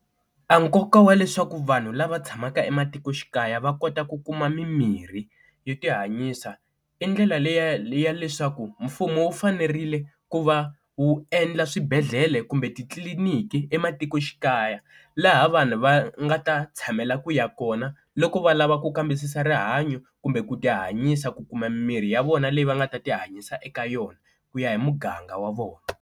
A nkoka wa leswaku vanhu lava tshamaka ematikoxikaya va kota ku kuma mimirhi yo ti hanyisa i ndlela leya leya leswaku mfumo wu fanerile ku va wu endla swibedhlele kumbe titliliniki ematikoxikaya, laha vanhu va nga ta tshamela ku ya kona loko va lava ku kambisisa rihanyo kumbe ku ti hanyisa ku kuma mimiri ya vona leyi va nga ta ti hanyisa eka yona ku ya hi muganga wa vona.